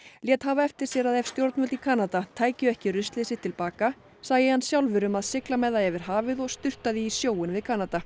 lét hafa eftir sér að ef stjórnvöld í Kanada tækju ekki ruslið sitt til baka sæi hann sjálfur um að sigla með það yfir hafið og sturta því í sjóinn við Kanada